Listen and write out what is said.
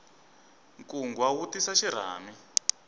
nkungwa wu tisa xirhami